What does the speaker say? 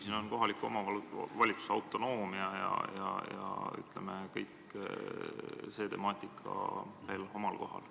Siin on küll kohaliku omavalitsuse autonoomia temaatika ka omal kohal.